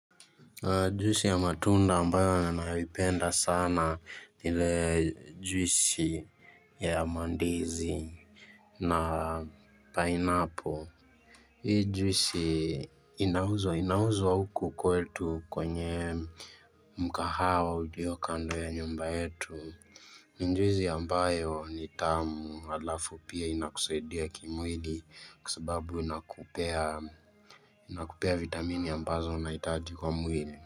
Juisi ya matunda ambayo ninaipenda sana ile juisi ya mandizi na pineapple. Hii juisi inauzwa inauzwa huku kwetu kwenye mkahawa uliyo kando ya nyumba yetu. Juisi ambayo ni tamu alafu pia inakusaidia kimwili kwa sababu inakupea inakupea vitamini ambazo unahitaji kwa mwili.